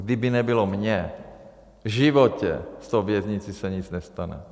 Kdyby nebylo mě, v životě s tou věznicí se nic nestane.